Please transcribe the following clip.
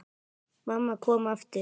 Mamma kom aftur.